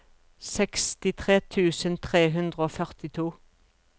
sekstitre tusen tre hundre og førtito